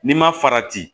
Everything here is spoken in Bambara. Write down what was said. N'i ma farati